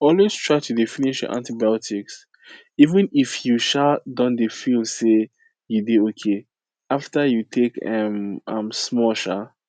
always try dey finish your antibiotics even if you um don feel say you dey okay after you take um am small um